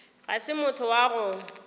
ga se motho wa go